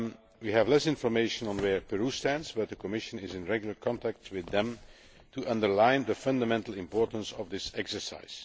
We have less information on where Peru stands, but the Commission is in regular contact with them to underline the fundamental importance of this exercise.